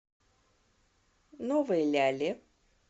новой ляле